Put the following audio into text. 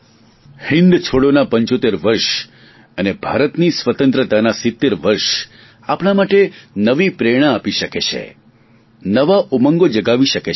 હિંદ છોડોના પંચોતેર વર્ષ અને ભારતની સ્વતંત્રતાના સીત્તેર વર્ષ આપણા માટે નવી પ્રેરણા આપી શકે છે નવા ઉમંગો જગાવી શકે છે